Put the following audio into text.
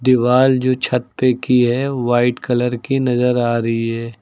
दीवाल जो छत पे की है वाइट कलर की नजर आ रही है।